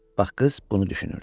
Bax qız bunu düşünürdü.